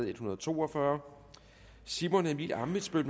en hundrede og to og fyrre simon emil ammitzbøll